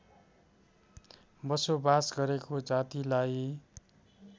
बसोबास गरेको जातिलाई